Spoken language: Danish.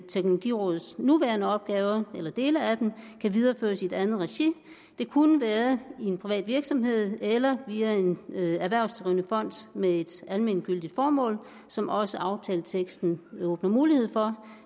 teknologirådets nuværende opgaver kan videreføres i et andet regi det kunne være i en privat virksomhed eller via en erhvervsdrivende fond med et almentgyldigt formål som også aftaleteksten åbner mulighed for